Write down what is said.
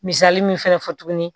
Misali min fɛnɛ fɔ tuguni